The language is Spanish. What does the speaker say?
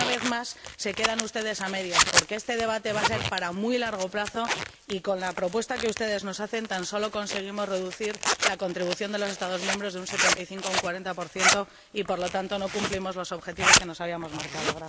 Pero, una vez más, se quedan ustedes a medias, porque este debate va a ser para muy largo plazo y, con la propuesta que ustedes nos hacen, tan solo conseguimos reducir la contribución de los Estados miembros de un 75 a un 40 por lo que no cumplimos los objetivos que nos habíamos marcado.